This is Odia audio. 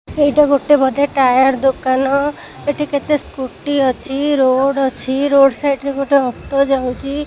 ଏଇଟା ଗୋଟେ ବଧେ ଟାୟାର ଦୋକାନ ଏଠି କେତେ ସ୍କୁଟି ଅଛି ରୋଡ୍ ଅଛି ରୋଡ୍ ସାଇଡ୍ ରେ ଗୋଟେ ଅଟୋ ଯାଉଚି।